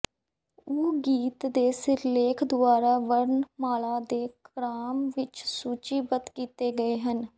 ਉਹ ਗੀਤ ਦੇ ਸਿਰਲੇਖ ਦੁਆਰਾ ਵਰਣਮਾਲਾ ਦੇ ਕ੍ਰਮ ਵਿੱਚ ਸੂਚੀਬੱਧ ਕੀਤੇ ਗਏ ਹਨ